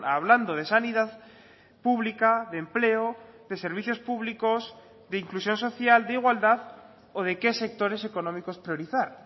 hablando de sanidad pública de empleo de servicios públicos de inclusión social de igualdad o de qué sectores económicos priorizar